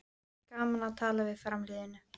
Gaman að tala við þá framliðnu